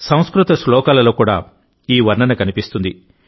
సంస్కృత శ్లోకాలలో ఈ వర్ణన కనిపిస్తుంది